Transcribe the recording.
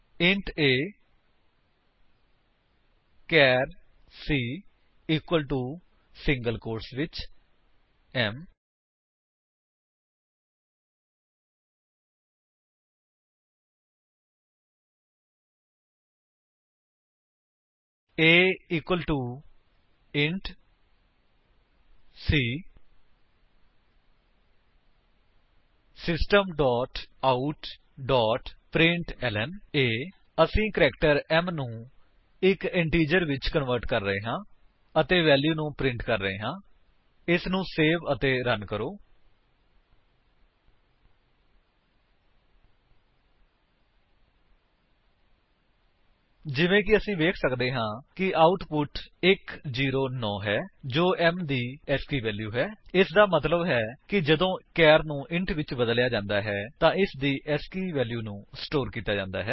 int a char c equal to single quotes ਵਿੱਚ m160 a equal to c system dot out dot println 160 ਅਸੀ character m ਨੂੰ ਇੱਕ integer ਵਿੱਚ convert ਕਰ ਰਹੇ ਹਨ ਅਤੇ ਵੈਲਿਊ ਨੂੰ ਪ੍ਰਿੰਟ ਕਰ ਰਹੇ ਹਾਂ ਇਸਨੂੰ ਸੇਵ ਅਤੇ ਰਨ ਕਰਦੇ ਹਾਂ ਜਿਵੇਂ ਕਿ ਅਸੀ ਵੇਖ ਸੱਕਦੇ ਹਾਂ ਕਿ ਆਉਟਪੁਟ 109 ਹੈ ਜੋ m ਦੀ ਏਸਕੀ ਵੈਲਿਊ ਹੈ ਇਸਦਾ ਮਤਲੱਬ ਹੈ ਜਦੋਂ ਇੱਕ ਚਾਰ ਨੂੰ ਇੰਟ ਵਿੱਚ ਬਦਲਿਆ ਜਾਂਦਾ ਹੈ ਇਸਦੀ ਏਸਕੀ ਵੈਲਿਊ ਨੂੰ ਸਟੋਰ ਕੀਤਾ ਜਾਂਦਾ ਹੈ